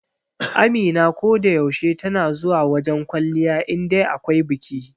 Amina ko da yaushe tana zuwa wajen kwalliya indai akwai biki.